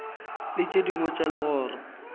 le tše dingwe tša legoro